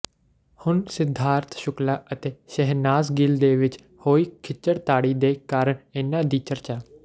ਹੁਣ ਸਿੱਧਾਰਥ ਸ਼ੁਕਲਾ ਅਤੇ ਸ਼ਹਿਨਾਜ ਗਿੱਲ ਦੇ ਵਿੱਚ ਹੋਈ ਖਿੱਚਾਤਾਣੀ ਦੇ ਕਾਰਨ ਇਹਨਾਂ ਦੀ ਚਰਚਾ